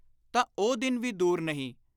ਤਾਂ ਉਹ ਦਿਨ ਵੀ ਦੁਰ ਨਹੀਂ,